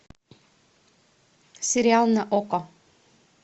сериал на окко